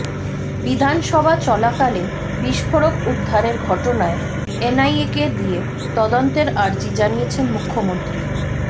বিধানসভা চলাকালে বিস্ফোরক উদ্ধারের ঘটনায় এনআইএকে দিয়ে তদন্তের আর্জি জানিয়েছেন মুখ্যমন্ত্রী